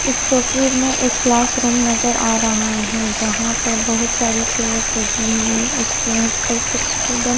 इस तस्वीर में एक क्लासरूम नजर आ रहा है जहां पर बहुत सारी चेयर्स लगी हुई है उस चेयर्स पर कुछ स्टूडेंट --